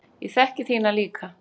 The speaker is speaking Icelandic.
Ég þekki þína líka.